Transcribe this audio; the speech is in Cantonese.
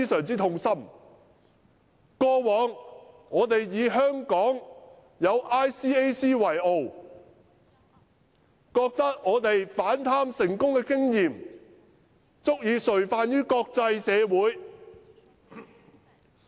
在從前，我們以香港有 ICAC 為傲，因為我們反貪成功的經驗，足以垂範國際社會。